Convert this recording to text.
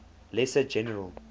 lesser general